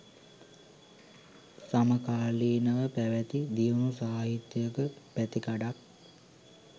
සමකාලීනව පැවැති දියුණු සාහිත්‍යයක පැතිකඩක්